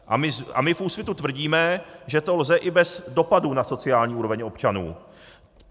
A my v Úsvitu tvrdíme, že to lze i bez dopadu na sociální úroveň občanů.